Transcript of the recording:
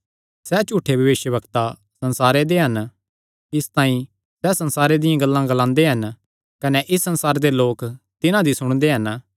सैह़ झूठे भविष्यवक्ता संसारे दे हन इसतांई सैह़ संसारे दियां गल्लां ग्लांदे हन कने इस संसारे दे लोक तिन्हां दी सुणदे हन